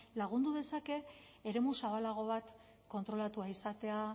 lagundu dezake eremu zabalago bat kontrolatua izatea